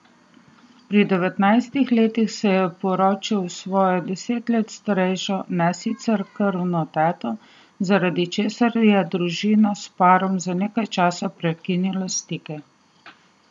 Pri devetnajstih letih se je poročil s svojo deset let starejšo, ne sicer krvno teto, zaradi česar je družina s parom za nekaj časa prekinila stike.